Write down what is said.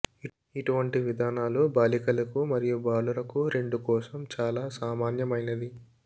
ఇటువంటి విధానాలు బాలికలకు మరియు బాలురకు రెండు కోసం చాలా సామాన్యమైనది